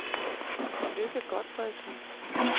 Lykke Gotfredsen